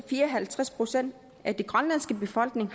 fire og halvtreds procent af den grønlandske befolkning